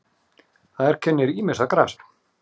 Þar kennir ýmissa grasa.